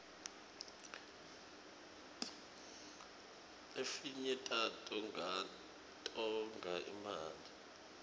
lefinye tato tonga imali